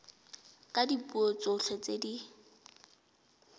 ka dipuo tsotlhe tse di